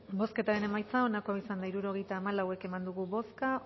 bozketaren emaitza onako izan da hirurogeita hamalau eman dugu bozka